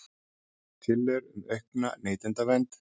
Tillögur um aukna neytendavernd